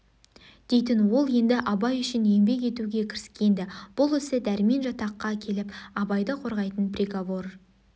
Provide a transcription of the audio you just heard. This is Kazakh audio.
дейтін ол енді абай үшін еңбек етуге кіріскен-ді бұл ісі дәрмен жатаққа келіп абайды қорғайтын приговор